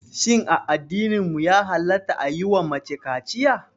Shin a addininmu ya halatta a yiwa mace kaciya?